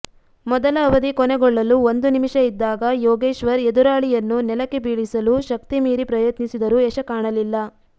ಮೊದಲ ಅವಧಿ ಕೊನೆಗೊಳ್ಳಲು ಒಂದು ನಿಮಿಷ ಇದ್ದಾಗ ಯೋಗೇಶ್ವರ್ ಎದುರಾಳಿಯನ್ನು ನೆಲಕ್ಕೆ ಬೀಳಿಸಲು ಶಕ್ತಿಮೀರಿ ಪ್ರಯತ್ನಿಸಿದರೂ ಯಶ ಕಾಣಲಿಲ್ಲ